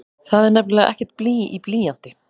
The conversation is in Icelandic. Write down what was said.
Það er nefnilega ekkert blý í blýanti!